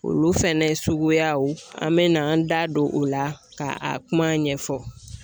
Olu fɛnɛ suguyaw an bɛ na an da don o la ka a kuma ɲɛfɔ